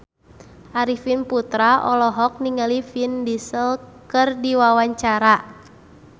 Arifin Putra olohok ningali Vin Diesel keur diwawancara